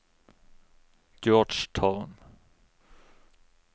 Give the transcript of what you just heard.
Georgetown